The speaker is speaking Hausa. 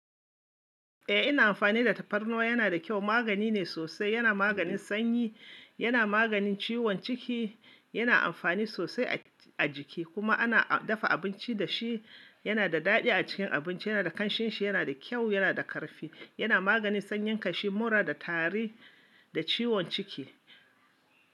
Eh ina amfani da tafarnuwa yana da kyau. Magani ne sosai, yana maganin sanyi, yana maganin ciwon ciki, yana amfani sosai a jiki kuma ana dafa abinci da shi, yana da daɗi a cikin abinci, yana da ƙanshinshi, yana da kyau, yana da ƙarfi, yana maganin sanyin kashi, mura da tari da ciwon ciki.